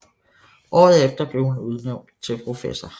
Året efter blev hun udnævnt til professor